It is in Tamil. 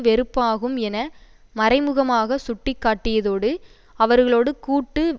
வெறுப்பாகும் என மறைமுகமாக சுட்டிக்காட்டியதோடு அவர்களோடு கூட்டு